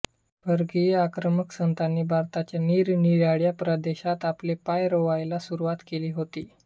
परकीय आक्रमक सत्तांनी भारताच्या निरनिराळ्या प्रदेशात आपले पाय रोवायला सुरुवात केली होती